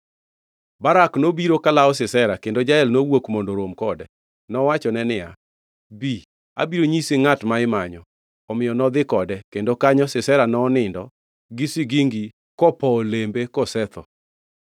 Barak nobiro kolawo Sisera, kendo Jael nowuok mondo orom kode. Nowachone niya, “Bi, abiro nyisi ngʼat ma imanyo.” Omiyo nodhi kode, kendo kanyo Sisera nonindo gi sigingi kopowo iye kosetho.